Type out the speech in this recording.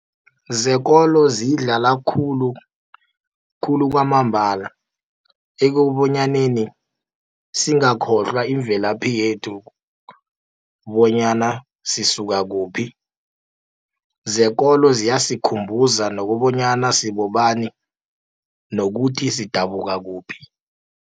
Zekolo ziyidlala khulu, khulu kwamambala, ekobonyaneni singakhohlwa imvelaphi yethu, bonyana sisuka kuphi. Zekolo ziyasikhumbuza nokobonyana sibobani, nokuthi sidabuka kuphi.